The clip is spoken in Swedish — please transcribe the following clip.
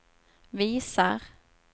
visar